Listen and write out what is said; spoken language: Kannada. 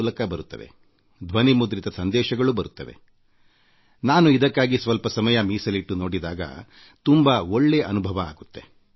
ಮೂಲಕ ಬರುತ್ತವೆ ಕೆಲವೊಮ್ಮೆ ಸಮಯ ಮಾಡಿಕೊಂಡು ಇದೆಲ್ಲವನ್ನೂ ನೋಡಿದಾಗ ನನಗೆ ತುಂಬಾ ಒಳ್ಳೇ ಅನುಭವ ಆಗುತ್ತದೆ